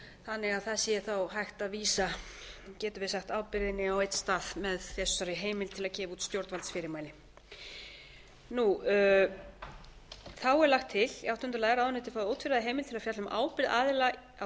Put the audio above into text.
þannig að það sé þá hægt að vísa getum við sagt ábyrgðinni á einn stað með sérstakri heimild til að gefa út stjórnvaldsfyrirmæli í áttunda lagi er lagt til að ráðuneytið fái ótvíræða heimild til þess að fjalla um ábyrgð aðila að